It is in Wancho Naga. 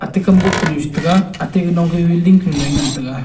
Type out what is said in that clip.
atey kam bo kanyu che tega atey ganong ka building noi ngan tega.